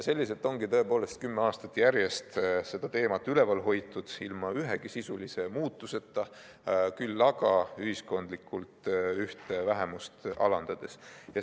Selliselt ongi tõepoolest kümme aastat järjest seda teemat üleval hoitud, ilma ühegi sisulise muutuseta, küll aga ühiskondlikult ühte vähemust alandades.